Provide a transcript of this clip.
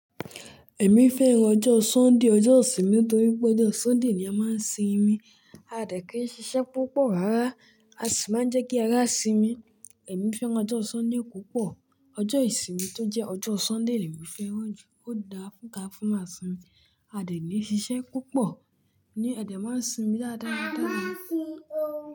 Ẹ̀mí fẹ́ràn ọjọ́ Sunday, ọjọ́ ìsinmi torí pé ọjọ́ Sunday ni a máa ń sinmi, a dẹ̀ kí í ṣiṣẹ́ púpọ̀ rárá a sì máa ń jẹ́ kí ara sinmi. Ẹ̀mí fẹ́ràn ọjọ́ Sunday púpọ̀. Ọjọ́ ìsinmi tó jẹ́ ọjọ́ Sunday le mi fẹ́ràn jù. Ó dára fún ká fúnwa sinmi, a dẹ̀ ni ṣiṣẹ́ púpọ̀ ní Ẹ̀dẹ máa ń sinmi dáradára.